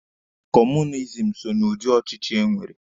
Kọọmunizim so na ụdị ochichi enwere.